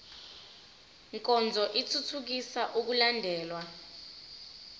nkonzo ithuthukisa ukulandelwa